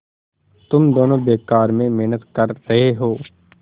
तुम दोनों बेकार में मेहनत कर रहे हो